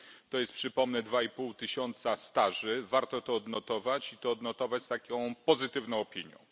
To jest, przypomnę, dwa i pół tysiąca staży warto to odnotować i to odnotować z taką pozytywną opinią.